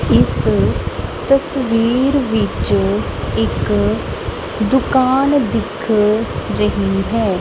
ਇੱਸ ਤਸਵੀਰ ਵਿੱਚ ਇੱਕ ਦੁਕਾਨ ਦਿੱਖ ਰਹੀ ਹੈ।